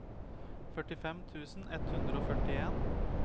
førtifem tusen ett hundre og førtien